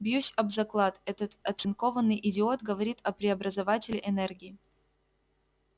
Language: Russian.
бьюсь об заклад этот оцинкованный идиот говорит о преобразователе энергии